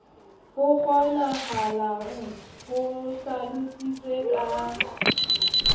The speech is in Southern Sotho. ho kgonahalang ho hlalositswe ka